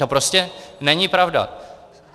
To prostě není pravda.